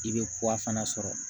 I bɛ kura fana sɔrɔ